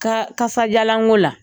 Ka kasadialanko la